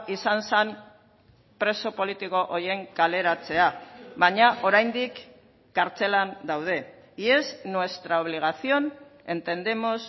izan zen preso politiko horien kaleratzea baina oraindik kartzelan daude y es nuestra obligación entendemos